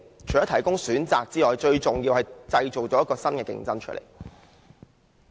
除可提供選擇外，最重要的是可以製造新的競爭者。